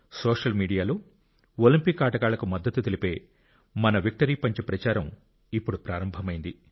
social మీడియాలో Olympic ఆటగాళ్లకు మద్దతు తెలిపే మన విక్టరీ పంచ్ ప్రచారం ఇప్పుడు ప్రారంభమైంది